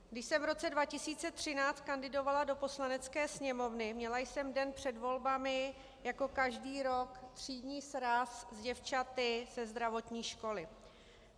Když jsem v roce 2013 kandidovala do Poslanecké sněmovny, měla jsem den před volbami jako každý rok třídní sraz s děvčaty ze zdravotní školy.